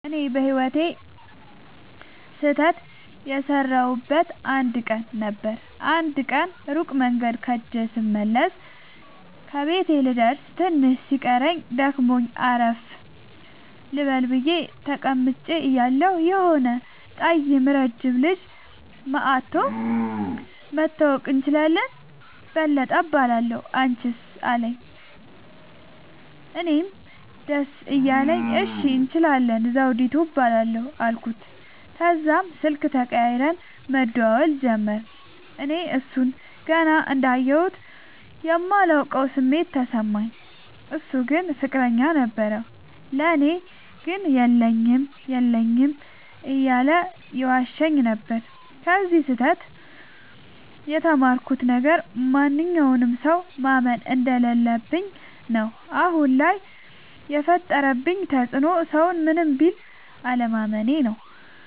እኔ በህይወቴ ስህተት የሠረውበት አንድ ቀን ነበር። አንድ ቀን ሩቅ መንገድ ኸጀ ስመለስ ከቤቴ ልደርስ ትንሽ ሲቀረኝ ደክሞኝ አረፍ ልበል ብየ ተቀምጨ እያለሁ የሆነ ጠይም ረጅም ልጅ መኧቶ<< መተዋወቅ እንችላለን በለጠ እባላለሁ አንችስ አለኝ>> አለኝ። እኔም ደስ እያለኝ እሺ እንችላለን ዘዉዲቱ እባላለሁ አልኩት። ተዛም ስልክ ተቀያይረን መደዋወል ጀመርን። እኔ እሡን ገና እንዳየሁት የማላቀዉ ስሜት ተሰማኝ። እሡ ግን ፍቅረኛ ነበረዉ። ለኔ ግን የለኝም የለኝም እያለ ይዋሸኝ ነበር። ከዚ ስህተ ት የተማርኩት ነገር ማንኛዉንም ሠዉ ማመን እንደለለብኝ ነዉ። አሁን ላይ የፈጠረብኝ ተፅዕኖ ሠዉን ምንም ቢል አለማመኔ ነዉ።